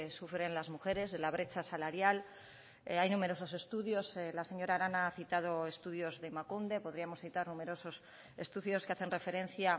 sufren las mujeres de la brecha salarial hay numerosos estudios la señora arana ha citado estudios de emakunde podríamos citar numerosos estudios que hacen referencia